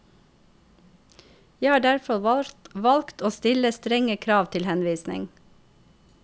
Jeg har derfor valgt å stille strenge krav til henvisning.